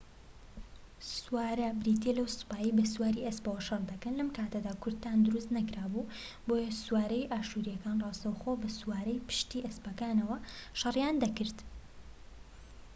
سوارە بریتیە لەو سوپایەی بە سواری ئەسپەوە شەڕ دەکەن لەم کاتەدا کورتان دروست نەکرابوو بۆیە سوارەی ئاشوریەکان ڕاستەوخۆ بە سواری پشتی ئەسپەکانەوە شەریان دەکرد